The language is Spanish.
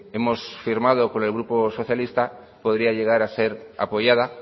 hemos firmado con el grupo socialista podría llegar a ser apoyada